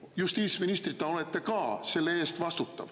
… ja teie justiitsministrina olete ka selle eest vastutav.